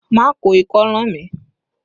Má ko ikọ́ ràn mí!